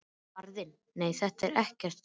Faðirinn: Nei nei, þetta er ekkert.